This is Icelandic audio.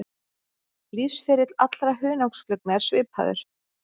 Lífsferill allra hunangsflugna er svipaður.